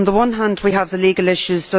On the one hand, we have the legal issues.